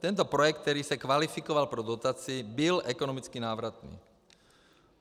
Tento projekt, který se kvalifikoval pro dotaci, byl ekonomicky návratný.